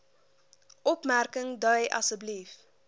opmerking dui asb